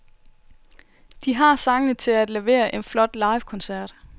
De har sangene til at levere en flot livekoncert.